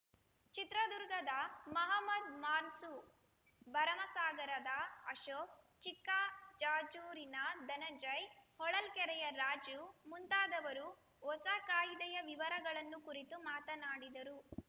ಚಿತ್ರದುರ್ಗದ ಮಹಮದ್‌ ಮನ್ಸೂರ್‌ ಭರಮಸಾಗರದ ಅಶೋಕ್‌ ಚಿಕ್ಕಜಾಜೂರಿನ ಧನಂಜಯ್‌ ಹೊಳಲ್ಕೆರೆಯ ರಾಜು ಮುಂತಾದವರು ಹೊಸ ಕಾಯಿದೆಯ ವಿವರಗಳನ್ನು ಕುರಿತು ಮಾತನಾಡಿದರು